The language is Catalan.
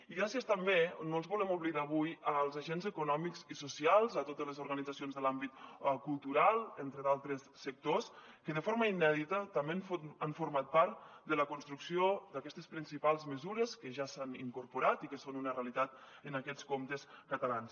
i gràcies també no els volem oblidar avui als agents econòmics i socials a totes les organitzacions de l’àmbit cultural entre d’altres sectors que de forma inèdita també han format part de la construcció d’aquestes principals mesures que ja s’han incorporat i que són una realitat en aquests comptes catalans